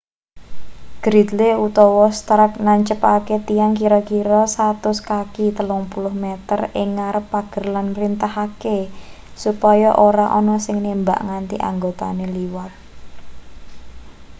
gridley utawa stark nancepake tiang kira-kira 100 kaki 30 m ing ngarep pager lan mrintahake supaya ora ana sing nembak nganti anggotane liwat